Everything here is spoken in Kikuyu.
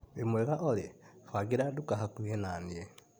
Wĩmwega olĩ ,bangĩra nduka hakuhĩ na niĩ.